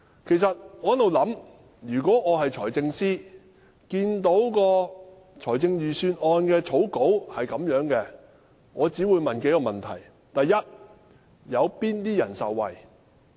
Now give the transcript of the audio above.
我一直在想，如果我是財政司司長，看到預算案的草稿，我只會問數個問題：第一，有哪些人受惠？